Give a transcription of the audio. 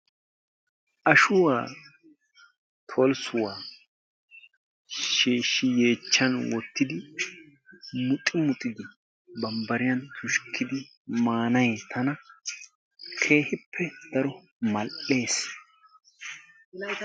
Ashuwa solissuwa shiishi yeechan wottidi muxxi muxxidi bambbariyan tushkidi manay tana keehippe daro mal'ees.